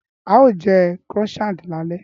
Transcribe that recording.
Á ó jẹ́ Croissant lálẹ́